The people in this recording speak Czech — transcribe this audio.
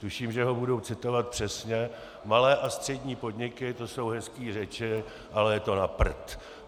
Tuším, že ho budu citovat přesně: "Malé a střední podniky, to jsou hezký řeči, ale je to na prd.